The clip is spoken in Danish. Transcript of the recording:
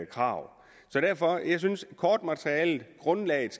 krav derfor synes jeg at grundlaget